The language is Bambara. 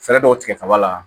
Fɛɛrɛ dɔw tigɛ kaba la